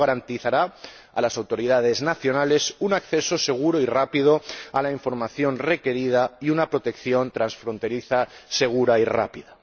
Esto garantizará a las autoridades nacionales un acceso seguro y rápido a la información requerida y una protección transfronteriza segura y rápida.